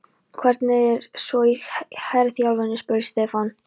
Hvernig var svo í herþjálfuninni? spurði Stefán.